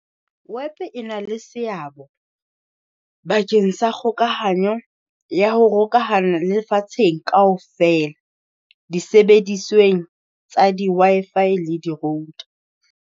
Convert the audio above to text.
Web e na le seabo, bakeng sa kgokahanyo ya ho hokahana le lefatsheng kaofela, di sebedisweng tsa di-Wi-Fi le di-Road.